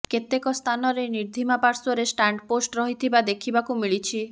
କେତେକ ସ୍ଥାନରେ ନିର୍ଦ୍ଦମା ପାଶ୍ୱର୍ରେ ଷ୍ଟାଣ୍ଡପୋଷ୍ଟ ରହିଥିବା ଦେଖିବାକୁ ମିଳିଛି